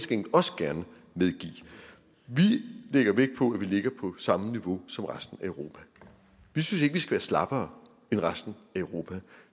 gengæld også gerne medgive vi lægger vægt på at vi ligger på samme niveau som resten af europa vi synes ikke vi skal være slappere end resten af europa